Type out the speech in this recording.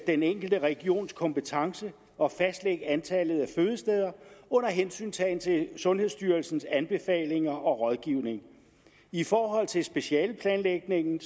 den enkelte regions kompetence at fastlægge antallet af fødesteder under hensyntagen til sundhedsstyrelsens anbefalinger og rådgivning i forhold til specialeplanlægningen